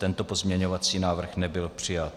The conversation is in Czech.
Tento pozměňující návrh nebyl přijat.